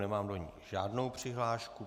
Nemám do ní žádnou přihlášku.